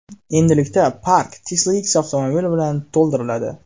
Endilikda park Tesla X avtomobili bilan to‘ldiriladi.